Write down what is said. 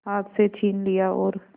हाथ से छीन लिया और